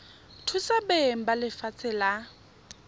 thusa beng ba lefatshe la